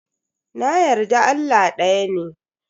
Na yarda Allah daya ne.